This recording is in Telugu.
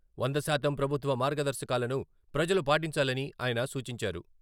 వంద శాతం ప్రభుత్వ మార్గదర్శకాలను ప్రజలు పాటించాలని ఆయన సూచించారు.